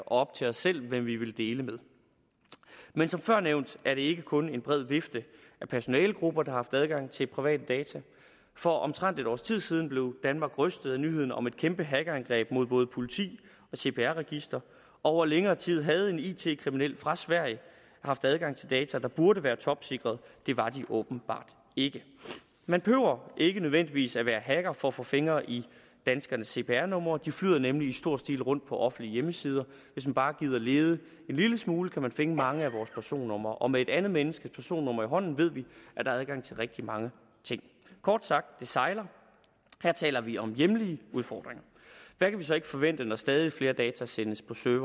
op til os selv hvem vi vil dele med men som før nævnt er det ikke kun en bred vifte af personalegrupper der har haft adgang til private data for omtrent et års tid siden blev danmark rystet af nyheden om at kæmpe hackerangreb mod både politiet og cpr registeret over længere tid havde en it kriminel fra sverige haft adgang til data der burde være topsikrede det var de åbenbart ikke man behøver ikke nødvendigvis at være hacker for at få fingre i danskernes cpr numre de flyder nemlig i stor stil rundt på offentlige hjemmesider hvis man bare gider lede en lille smule kan man finde mange af vores personnumre og med et andet menneskes personnummer i hånden ved vi at der er adgang til rigtig mange ting kort sagt det sejler og her taler vi om hjemlige udfordringer hvad kan vi så ikke forvente når stadig flere data sendes til